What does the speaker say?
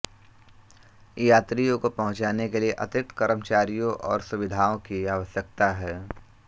यात्रियों को पंहुचाने के लिए अतिरिक्त कर्मचारियों और सुविधाओं की आवश्यकता है